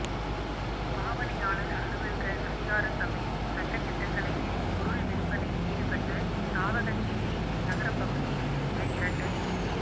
பாவனையாளர் அலுவல்கள் அதிகார சபையின் சட்டதிட்டங்களை மீறி பொருள் விற்பனையில் ஈடுபட்ட சாவகச்சேரி நகரப் பகுதியைச் சேர்ந்த இரண்டு